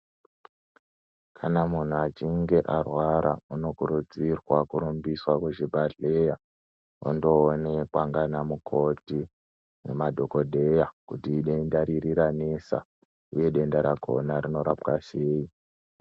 Kana munhu achinge arwara unokurudzirwa kurumbiswa kuchibhadhleya ondoonekwa ngana mukoti nemadhokodheya kuti idenda riri ranesa uye denda rakhona rinorapwa sei.